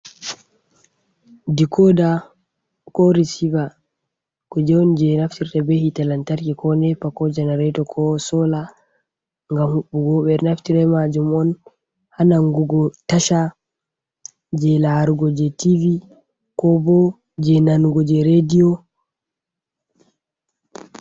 Dikoda ko risiva kuje on je naftirta be hitelantarki ko nepa ko jenarato ko sola ngam huɓɓugo ɓe naftira majum on ha nangugo tasha je laarugo je tivi kobo je nanugo je rediyo.